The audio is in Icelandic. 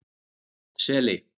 Seli